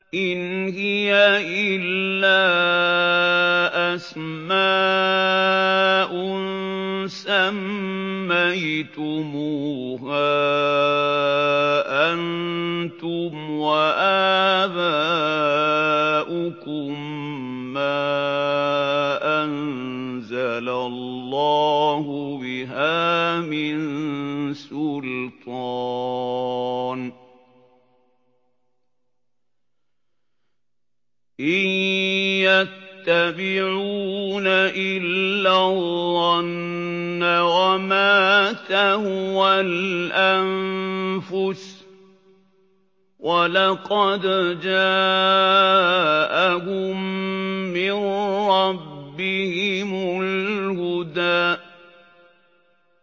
إِنْ هِيَ إِلَّا أَسْمَاءٌ سَمَّيْتُمُوهَا أَنتُمْ وَآبَاؤُكُم مَّا أَنزَلَ اللَّهُ بِهَا مِن سُلْطَانٍ ۚ إِن يَتَّبِعُونَ إِلَّا الظَّنَّ وَمَا تَهْوَى الْأَنفُسُ ۖ وَلَقَدْ جَاءَهُم مِّن رَّبِّهِمُ الْهُدَىٰ